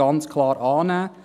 Ganz klar annehmen.